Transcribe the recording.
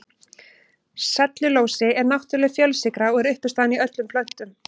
Sellulósi er náttúrleg fjölsykra og er uppistaðan í öllum plöntum.